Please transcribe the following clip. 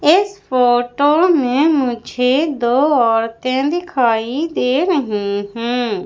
इस फोटो में मुझे दो औरतें दिखाई दे रहे हैं।